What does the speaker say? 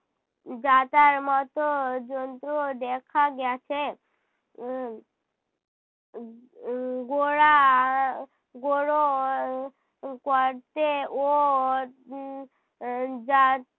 যাঁতার মতো যন্ত্রুও দেখা গেছে। উহ উহ গোড়া গোড়ো গর্তে যা